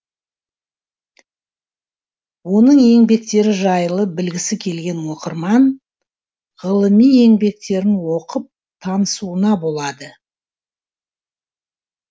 оның еңбектері жайлы білгісі келген оқырман ғылыми еңбектерін оқып танысуына болады